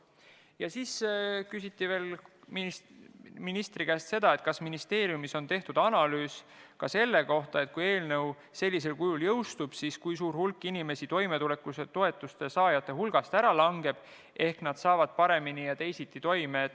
Ja veel küsiti ministri käest seda, kas ministeeriumis on tehtud analüüs selle kohta, et kui eelnõu sellisel kujul jõustub, siis kui suur hulk inimesi toimetulekutoetuse saajate hulgast ära langeb, sest nad tulevad paremini ja teisiti toime.